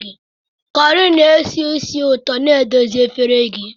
Corrie na-esi ísì ụtọ na-edozi efere gị